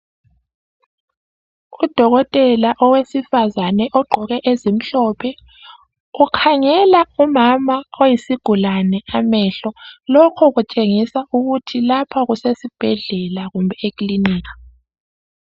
Udokotela owesifazane ogqoke ezimhlophe ukhangela umama oyisigulane amehlo. Lokho kutshengisa ukuthi lapha kusesibhedlela kumbe ekilinika